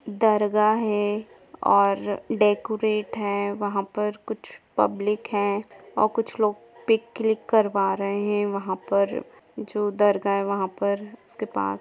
दरगाह है और डेकोरेट है वहां पर कुछ पब्लिक है और कुछ लोग पिक क्लीक करवा रहे है वहा पर जो दरगाह है वहा पर उसके पास--